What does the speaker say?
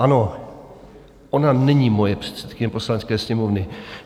Ano, ona není moje předsedkyně Poslanecké sněmovny.